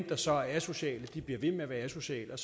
der så er asociale bliver ved med at være asociale